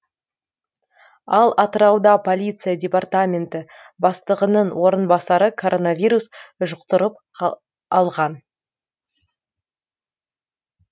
ал атырауда полиция департаменті бастығының орынбасары коронавирус жұқтырып алған